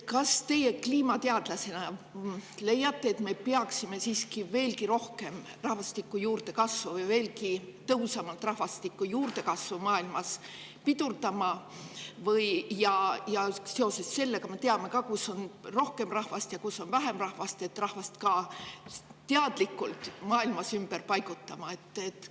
Kas teie kliimateadlasena leiate, et me peaksime siiski veelgi tõhusamalt rahvastiku juurdekasvu maailmas pidurdama, ja kuna me teame, kus on rohkem rahvast ja kus on vähem rahvast, ka rahvast teadlikult maailmas ümber paigutama?